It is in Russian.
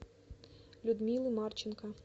людмилы марченко